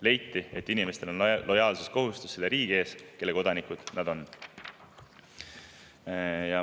Leiti, et inimestel on lojaalsuskohustus selle riigi ees, mille kodanikud nad on.